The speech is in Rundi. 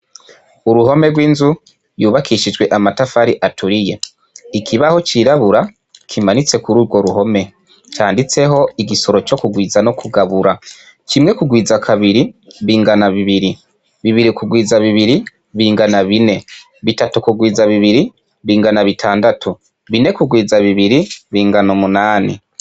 Uruhome rwinzu rwubakishije amatafari aturiye ikibaho cirabura kimanitse kurugo ruhome canditseho igisoro co kugwiza no kugabura kimwe kugwiza kabiri bigana bibiri bibiri kugwiza bibiri bingana bine bitatu kurwiza bibiri bingana bitandatu bine kurwiza bibiri bingana umunani